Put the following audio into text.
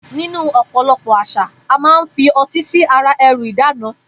Nínú ò̩po̩lo̩pò̩ às̩à, a máa ń fi o̩tí sí ara e̩rù ìdána